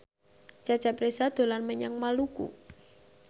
Cecep Reza dolan menyang Maluku